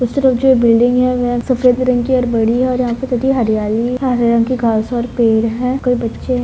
उसे तरफ जो है बिल्डिंग है हरे रंग की घास और पेड़ है कोई बच्चे ह --